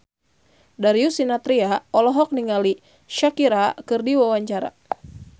Darius Sinathrya olohok ningali Shakira keur diwawancara